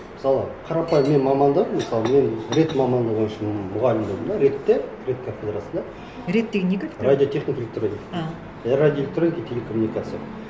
мысалы қарапайым менің мамандығым мысалы мен рэт мамандығы бойынша мұғалім болдым да рэт те рэт кафедрасында рэт деген не кафедра радиотехника электроника а и радиоэлектроника телекоммуникация